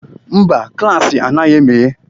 Mba, klaasị anaghị emeghe.